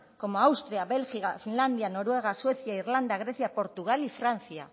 austria bélgica finlandia noruega suecia irlanda grecia portugal y francia